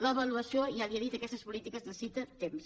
l’avaluació ja li ho he dit d’aquestes polítiques necessita temps